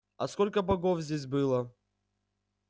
а сколько богов здесь было